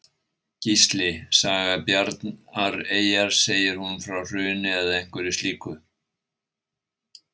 Gísli: Saga Bjarnareyjar, segir hún frá hruni eða einhverju slíku?